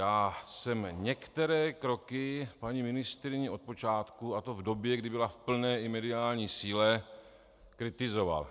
Já jsem některé kroky paní ministryně od počátku, a to v době, kdy byla v plné i mediální síle, kritizoval.